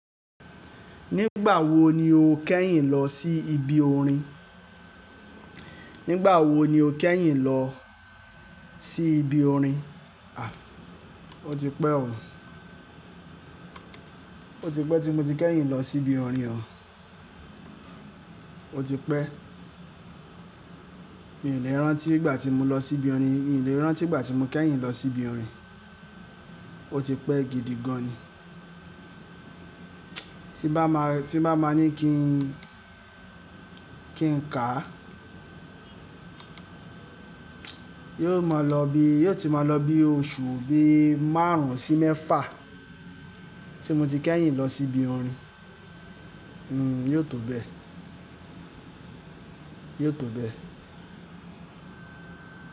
Nígbà wo ni o kẹ́yìn lọ sí ibi orin? Nígbà wo ni o kẹ́yìn lọ sí ibi orin? A! O ti pẹ́ o. O ti pẹ́ tí mo ti kẹ́yìn lọ sí ibi orin o. O ti pẹ́. Mii lè rántí ìgbà tí mo lọ sí ibi orin. Mii lè rántí ìgbà tí mo kẹ́yìn lọ sí ibi orin. O ti pẹ́ gidi gan ni. Tí n bá máa, tí n bá máa ní kí n, kí n ká, yóò máa lọ bí, yóò ti máa lọ bí oṣù bí márùn-ún sí mẹ́fà tí mo ti kẹ́yìn lọ sí ibi orin. Hmm yóò tó bẹ́ẹ̀. Yóò tó bẹ́ẹ̀